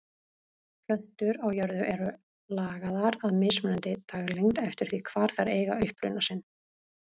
Plöntur á jörðu eru lagaðar að mismunandi daglengd eftir því hvar þær eiga uppruna sinn.